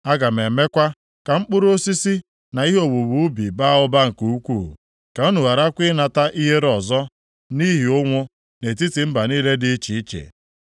Aga m emekwa ka mkpụrụ osisi na ihe owuwe ubi baa ụba nke ukwuu, ka unu gharakwa ịnata ihere ọzọ nʼihi ụnwụ, + 36:30 Maọbụ, nʼihi ụkọ nri nʼetiti mba niile dị iche iche.